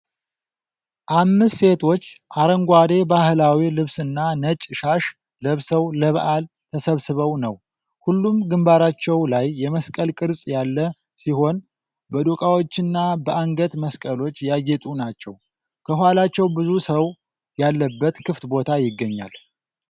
አምስት ሴቶች አረንጓዴ ባህላዊ ልብስና ነጭ ሻሽ ለብሰው ለበዓል ተሰብስበው ነው። ሁሉም ግንባራቸው ላይ የመስቀል ቅርጽ ያለ ሲሆን፣ በዶቃዎችና በአንገት መስቀሎች ያጌጡ ናቸው። ከኋላቸው ብዙ ሰው ያለበት ክፍት ቦታ ይገኛል።